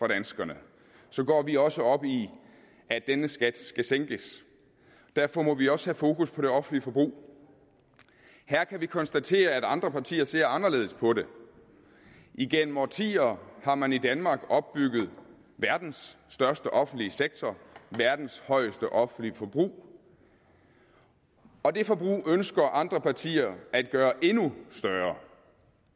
danskerne så går vi også op i at denne skat skal sænkes derfor må vi også have fokus på det offentlige forbrug her kan vi konstatere at andre partier ser anderledes på det igennem årtier har man i danmark opbygget verdens største offentlige sektor verdens højeste offentlige forbrug og det forbrug ønsker andre partier at gøre endnu større